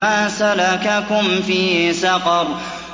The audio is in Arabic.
مَا سَلَكَكُمْ فِي سَقَرَ